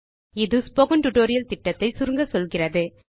இது spoken tutorial project ஐ சுருக்கமாக சொல்லுகிறது